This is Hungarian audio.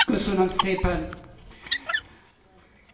Tisztelt elnök asszony, kedves kollégák!